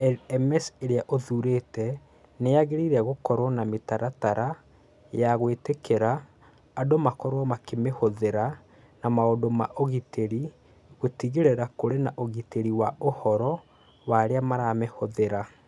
LMS ĩrĩa ũthuurĩte nĩ yagĩrĩirũo gũkorũo na mĩtaratara ya gwĩtĩkĩria andũ makorũo makĩmĩhũthĩra na maũndũ ma ũgitĩri gũtigĩrĩra kũrĩ na ũgitĩri wa ũhoro wa arĩa maramĩhũthĩra